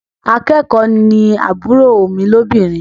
Akẹ́kọ̀ọ́ ni àbúrò mi lóbìnrin.